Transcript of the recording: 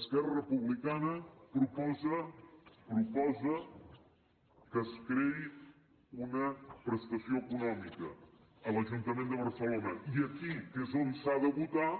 esquerra republicana proposa proposa que es creï una prestació econòmica a l’ajuntament de barcelona i aquí que és on s’ha de votar